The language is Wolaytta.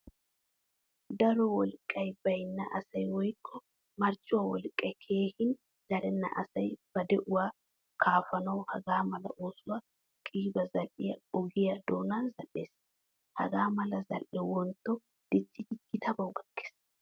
Daro wolqqay baynna asay woykko marccuwaa wolqqay keehin darena asay ba de'uwaa kaafanawu hagaamala oosuwaa qiiba zal'iyaa ogiyaa doonan zal'ees. Hagaamala zal'ee wontto diccidi gitabawu gakkees.